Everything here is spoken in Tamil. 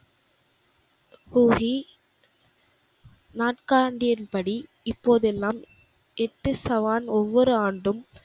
கூகி நாட்கான்டியின்படி இப்போதெல்லாம் எட்டு சவான் ஒவ்வொரு ஆண்டும்,